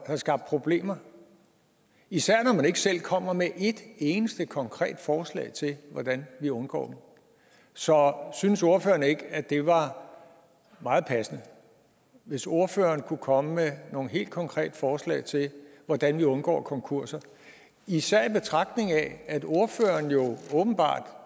have skabt problemer især når man ikke selv kommer med et eneste konkret forslag til hvordan vi undgår dem så synes ordføreren ikke at det var meget passende hvis ordføreren kunne komme med nogle helt konkrete forslag til hvordan vi undgå konkurser især i betragtning af at ordføreren jo åbenbart